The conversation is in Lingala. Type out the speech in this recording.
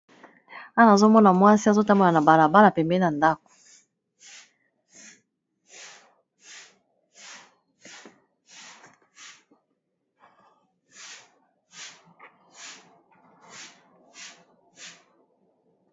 wana azomona mwasi azotambola na balabala pembe na ndako